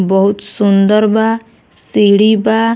बहुत सुन्दर बा सीढ़ी बा।